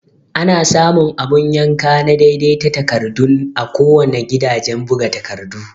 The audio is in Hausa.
Ana samu abun yanka na daidai ta takardun a kuwanna gidajan buga takardu